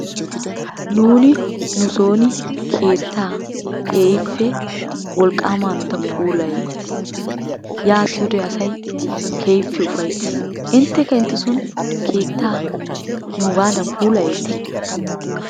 Nuuni nusoon keettaa keekippe wolqqaama hanotan puulayeettees, yaattiyode asay keehippe ufayttees inttekka intesoon keettaa nuugaadan puulayeeti?